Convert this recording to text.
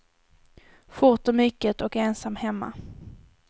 Fort och mycket, och ensam hemma.